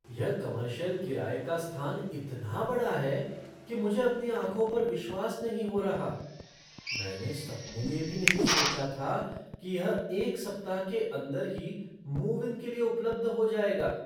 यह कमर्शियल किराये का स्थान इतना बड़ा है कि मुझे अपनी आँखों पर विश्वास नहीं हो रहा। मैंने सपने में भी नहीं सोचा था कि यह एक सप्ताह के अंदर ही मूव इन के लिए उपलब्ध हो जाएगा।